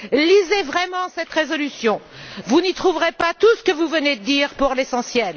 Lisez vraiment cette résolution, vous n'y trouverez pas tout ce que vous venez de dire pour l'essentiel.